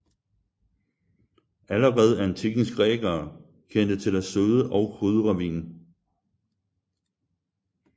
Allerede antikkens grækere kendte til at søde og krydre vin